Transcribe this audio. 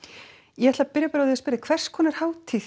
ég ætla að byrja bara á því að spyrja hvers konar hátíð